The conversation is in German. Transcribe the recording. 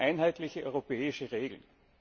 Wir brauchen einheitliche europäische Regeln.